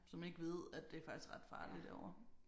Som ikke ved at det er faktisk ret farligt derovre